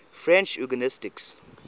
french eugenicists